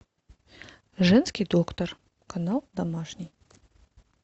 женский доктор канал домашний